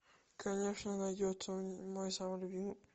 конечно найдется мой самый любимый